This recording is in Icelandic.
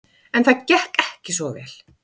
En það gekk ekki svo vel.